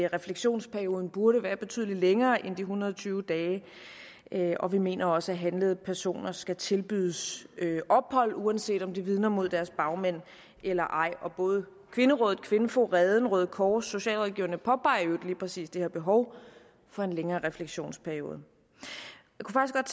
refleksionsperioden burde være betydelig længere end de en hundrede og tyve dage og vi mener også at handlede personer skal tilbydes ophold uanset om de vidner mod deres bagmænd eller ej og både kvinderådet kvinfo reden røde kors og socialrådgiverne påpeger i præcis det her behov for en længere refleksionsperiode